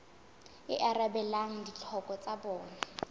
e arabelang ditlhoko tsa bona